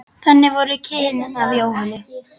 Þannig voru kynnin af Jónu.